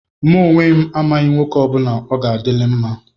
Mụ onwe m, amaghị onye nwoke ọ bụla ọ ga-adịlị mma.